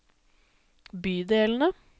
bydelene